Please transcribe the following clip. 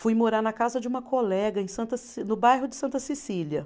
Fui morar na casa de uma colega em Santa Ce, no bairro de Santa Cecília.